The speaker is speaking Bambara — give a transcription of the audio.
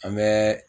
An bɛ